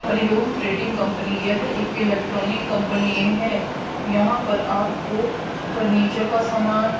Hari Om trading company यह एक electronic company है यहां पर आपको फर्नीचर का सामान--